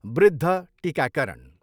वृद्ध टिकाकरण।